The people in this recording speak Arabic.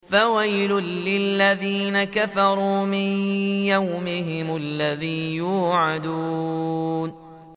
فَوَيْلٌ لِّلَّذِينَ كَفَرُوا مِن يَوْمِهِمُ الَّذِي يُوعَدُونَ